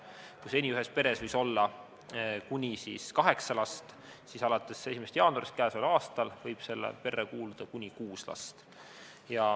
Kui seni võis ühes peres olla kuni kaheksa last, siis alates 1. jaanuarist k.a võib perre kuuluda kuni kuus last.